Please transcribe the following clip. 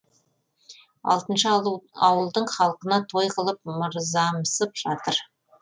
алтыншы ауылдың халқына той қылып мырзамсып жатыр